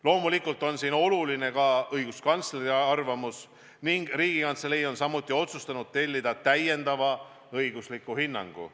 Loomulikult on siin oluline ka õiguskantsleri arvamus ning Riigikantselei on otsustanud tellida täiendava õigusliku hinnangu.